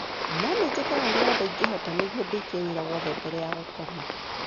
No nĩ njĩkaga ũrĩa wothe ingĩhota nĩguo ndĩkie wĩra wothe mbere ya gũkoma.